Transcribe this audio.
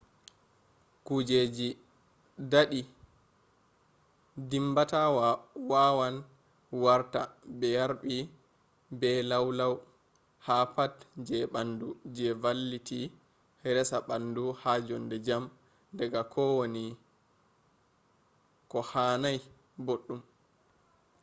kujeji dadi dimbata wawan warta be yarbi be lau lau ha pat je bandu je valliti resa bandu ha jonde jam daga kowani kohanai boddum